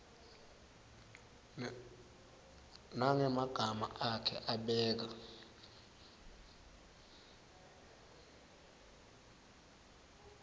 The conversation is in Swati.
nangemagama akhe abeka